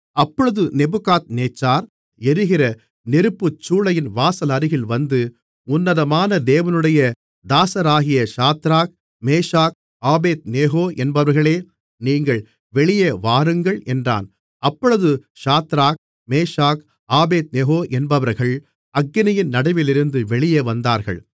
அப்பொழுது நேபுகாத்நேச்சார் எரிகிற நெருப்புச்சூளையின் வாசலருகில் வந்து உன்னதமான தேவனுடைய தாசராகிய சாத்ராக் மேஷாக் ஆபேத்நேகோ என்பவர்களே நீங்கள் வெளியே வாருங்கள் என்றான் அப்பொழுது சாத்ராக் மேஷாக் ஆபேத்நேகோ என்பவர்கள் அக்கினியின் நடுவிலிருந்து வெளியே வந்தார்கள்